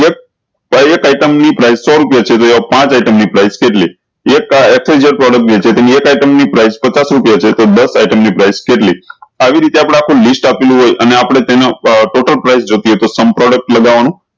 તોય એક item ની price સૌ રુપયા છે એ પાંચ item ની price કેટલી એક ક્ષ વાય ઝેડ item વેચે તો એની એક item ની price પચચાસ રુપયા છે તો દસ item ની price કેટલી આવી રીતે આપડા list આપ્યું હોય અને આપળે તેનો આ total production જોયીતે તો sum product લગાવાનું